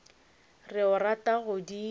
re o rata go di